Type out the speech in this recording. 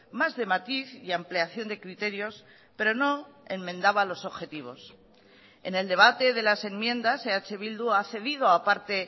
más de matiz y ampliación de criterios pero no enmendaba los objetivos en el debate de las enmiendas eh bildu ha cedido aparte